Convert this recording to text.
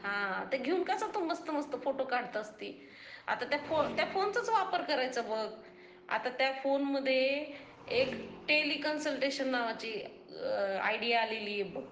हा, ते घेऊन तू कसे मस्त मस्त फोटो काढतं आसती, आता त्या फोनचाच वापर करायचा बघ, त्या फोनमध्ये एक टेलि कन्स्टंटेशन नावाची आयडीया आलेली आहे बघ